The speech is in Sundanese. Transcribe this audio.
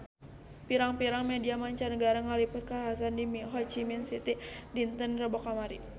Pirang-pirang media mancanagara ngaliput kakhasan di Ho Chi Minh City dinten Rebo kamari